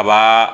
Kaba